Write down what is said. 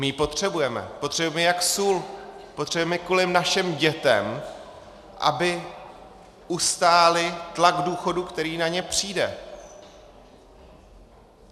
My ji potřebujeme, potřebujeme ji jak sůl, potřebujeme ji kvůli našim dětem, aby ustály tlak důchodu, který na ně přijde.